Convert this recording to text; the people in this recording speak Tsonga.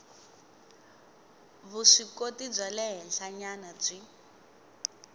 vuswikoti bya le henhlanyana byi